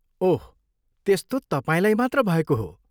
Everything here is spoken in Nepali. ओह, त्यस्तो तपाईँलाई मात्र भएको हो!